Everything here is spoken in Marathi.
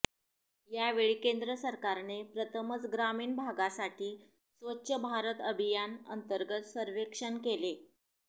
यावेळी केंद्र सरकारने प्रथमच ग्रामीण भागासाठी स्वच्छ भारत अभियान अंतर्गत सर्वेक्षण केलं